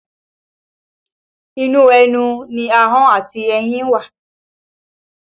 Inú ẹnu ni ahọ́n àti eyín wà